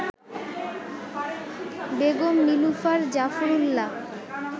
Begum Nilufar Zafar Ullah